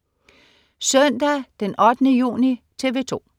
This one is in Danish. Søndag den 8. juni - TV 2: